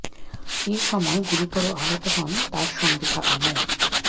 এ সময় গুরুতর আহত হন তার সঙ্গে থাকা মো